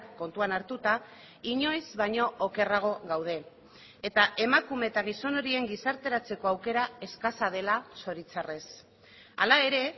kontuan hartuta inoiz baino okerrago gaude eta emakume eta gizon horien gizarteratzeko aukera eskasa dela zoritxarrez hala ere